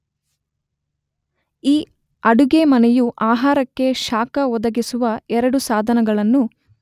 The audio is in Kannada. ಈ ಅಡುಗೆಮನೆಯು ಆಹಾರಕ್ಕೆ ಶಾಖ ಒದಗಿಸುವ ಎರಡು ಸಾಧನಗಳನ್ನು